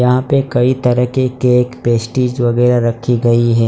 यहां पे कई तरह के केक पेस्ट्रीज वगैरा रखी गई है।